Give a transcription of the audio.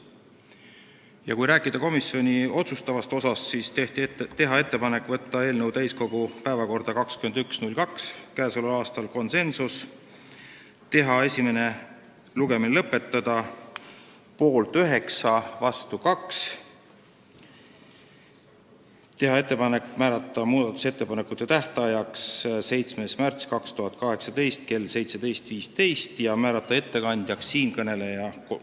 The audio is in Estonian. Räägin nüüd ka komisjoni otsustest: tehti ettepanek võtta eelnõu täiskogu päevakorda 21. veebruariks k.a ja esimene lugemine lõpetada , tehti ka ettepanek määrata muudatusettepanekute tähtajaks 7. märts 2018 kell 17.15 ja määrata ettekandjaks siinkõneleja .